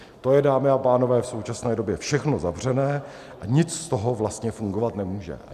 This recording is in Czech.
To je, dámy a pánové, v současné době všechno zavřené a nic z toho vlastně fungovat nemůže.